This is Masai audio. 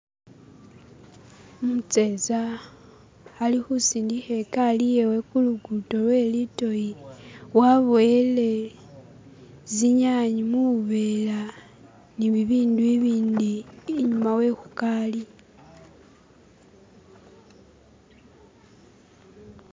umuseza ali husindiha ekali yewe hulugudo lwelidoyi waboyele zinyanyi mubuvera nibibindu ibindi inyuma wehukali